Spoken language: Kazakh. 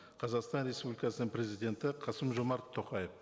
қазақстан республикасының президенті қасым жомарт тоқаев